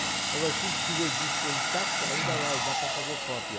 Agora, se tiver disco intacto, ainda vai, dá para fazer cópia.